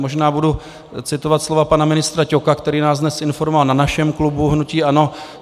Možná budu citovat slova pana ministra Ťoka, který nás dnes informoval na našem klubu hnutí ANO.